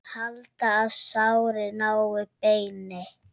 Halda, að sárið nái beini.